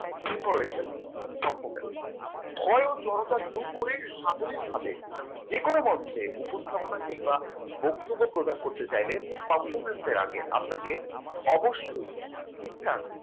কি ভয় ও জড়তা দূর করে সাবলীল ভাবে যে কোন মঞ্চে উপস্থাপনা কিংবা বক্তব্য প্রদান করতে চাইলে performance এর আগে আপনাকে অবশ্যই ঠিকঠাক